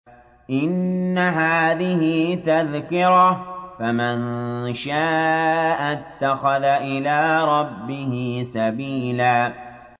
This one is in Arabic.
إِنَّ هَٰذِهِ تَذْكِرَةٌ ۖ فَمَن شَاءَ اتَّخَذَ إِلَىٰ رَبِّهِ سَبِيلًا